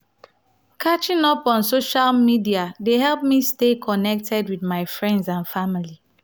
catching up on social media dey help me stay connected with my friends and family.